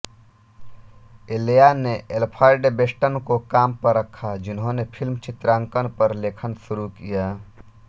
इल्या ने Alfred Bester को काम पर रखा जिन्होंने फ़िल्म चित्रांकन पर लेखन शुरू किया